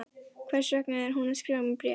Hvers vegna er hún að skrifa mér bréf?